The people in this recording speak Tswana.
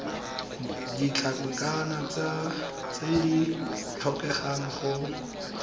ditlankana tse di tlhokegang go